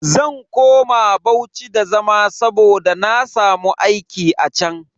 Zan koma Bauchi da zama saboda na samu aiki a chan.